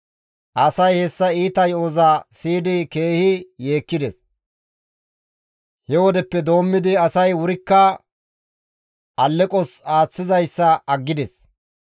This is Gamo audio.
Asay hessa iita yo7oza siyidi keehi yeekkides. He wodeppe doommidi asay wurikka alleqos aaththizayssa aggides.